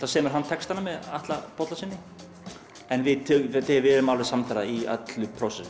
semur hann textana með Atla Bollasyni en við við höfum verið samferða í öllu